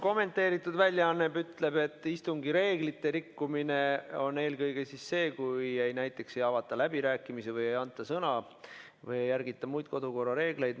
Kommenteeritud väljaanne ütleb, et istungi reeglite rikkumine on eelkõige näiteks see, kui ei avata läbirääkimisi, ei anta sõna või ei järgita muid kodukorra reegleid.